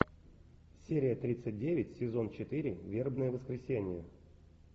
серия тридцать девять сезон четыре вербное воскресенье